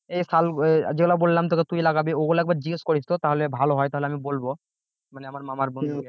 এই শাল যেগুলা বললাম তোকে তুই লাগাবি ওগুলা একবার জিজ্ঞেস করিস তো তাহলে ভালো হয় তাহলে আমি বলব মানে আমার মামার বন্ধু কে